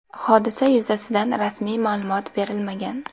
Hodisa yuzasidan rasmiy ma’lumot berilmagan.